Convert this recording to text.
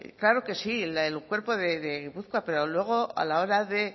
claro que sí el cuerpo de gipuzkoa pero luego a la hora de